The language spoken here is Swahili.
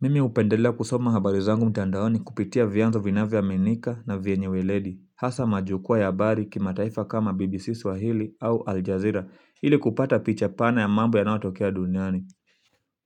Mimi hupendelea kusoma habari zangu mtandaoni kupitia vianzo vinavyoaminika na vyenye ueledi hasa majukwaa ya habari kimataifa kama BBC swahili au Aljazera, ili kupata picha pana ya mambo yanayotokea duniani.